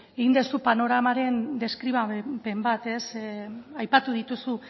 egin duzu panoramaren deskribapen bat aipatu dituzu